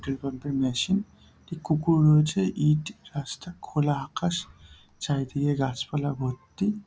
Petrol pump -এর machine একটি কুকুর রয়েছে ইট রাস্তা খোলা আকাশ চারিদিকে গাছপালা ভর্তি।